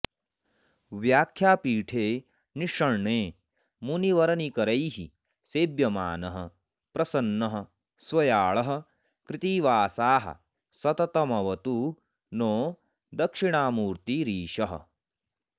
व्याख्यापीठे निषण्णे मुनिवरनिकरैः सेव्यमानः प्रसन्नः स्व्याळः कृत्तिवासाः सततमवतु नो दक्षिणामूर्तिरीशः